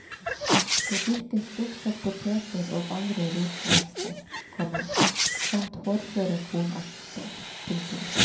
Det dyrkes stort sett poteter og andre rotvekster, komma samt hårdføre kornarter. punktum